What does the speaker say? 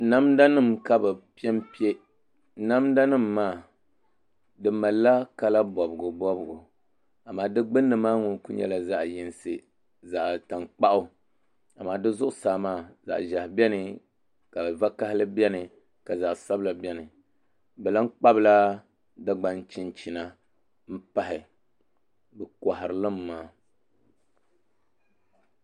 Namda nim ka bi piɛnpiɛ namda nim maa di malila kala bobgu bobgu amaa di gbunni maa ŋun ku nyɛla zaɣ yinsi zaɣ tankpaɣu amaa di zuɣusaa maa zaɣ ʒiɛhi biɛni zaɣ piɛla biɛni ka zaɣ sabila biɛni bi lahi kpabila dagbaŋ chinchina n pahi bi koharilimi maa